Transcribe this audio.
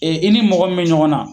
Ɛ e nin mɔgɔ min be ɲɔgɔn na